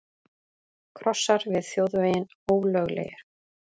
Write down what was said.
Krossar við þjóðveginn ólöglegir